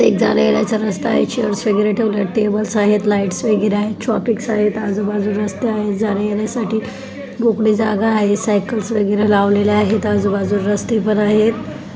जाण्या येण्याचा रस्ता आहे चेयर्स वगैरे ठेवल्यात टेबल्स आहेत लाइट वगैरा आहेत आजूबाजूला रस्ते आहेत जाणे येण्यासाठी मोकळी जागा आहे सायकल्स वगैरे लावलेल्या आहेत आजूबाजूला रस्ते पण आहेत.